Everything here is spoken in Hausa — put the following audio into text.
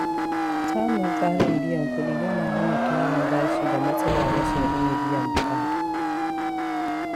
Samun tsarin biyan kuɗi yana hana tarin bashi da matsalar rashin iya biyan buƙata.